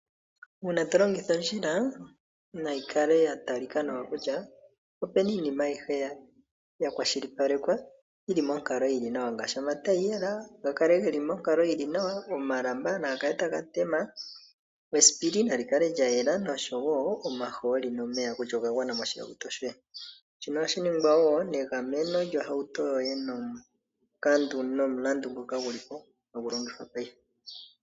Uuna tolongitha ondjila nayi yatalika ko kutya nawa opuna iinima ayihe yakwashilipaleka yili monkalo yili nawa ngaashi omataiyela gakale geli monkalo yili nawa, omalamba naga kale taga tema, esipili nali kale lyayela nosho wo omahooli nomeya kutya ogagwana moshihauto shoye. Shino ohashi ningwa wo negameno lyohauto yoye nomulandu nguka guli po hagu longithwa paife.